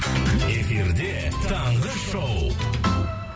эфирде таңғы шоу